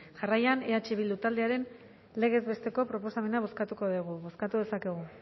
jarraian eh bildu taldearen legez besteko proposamena bozkatuko dugu bozkatu dezakegu